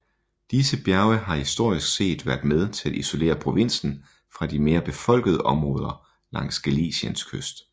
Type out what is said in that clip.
Disse bjerge har historisk set været med til at isolere provinsen fra de mere befolkede områder langs Galiciens kyst